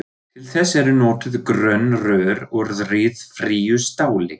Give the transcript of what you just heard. Til þess eru notuð grönn rör úr ryðfríu stáli.